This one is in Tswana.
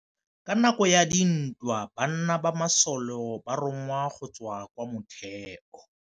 Ka nakô ya dintwa banna ba masole ba rongwa go tswa kwa mothêô.